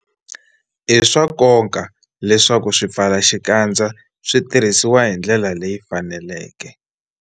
I swa nkoka leswaku swipfalaxikandza swi tirhisiwa hi ndlela leyi faneleke.